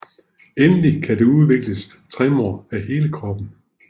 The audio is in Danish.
Endelig kan der udvikles tremor af hele kroppen